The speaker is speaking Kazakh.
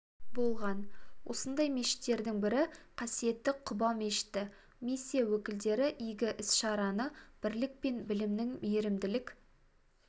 болған осындай мешіттердің бірі қасиетті құба мешіті миссия өкілдері игі іс-шараны бірлік пен білімнің мейрімділік